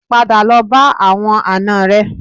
Padà lọ bá àwọn àna rẹ